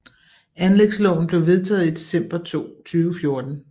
Anlægsloven blev vedtaget i december 2014